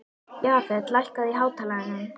Jafet, lækkaðu í hátalaranum.